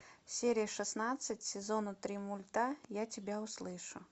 серия шестнадцать сезона три мульта я тебя услышу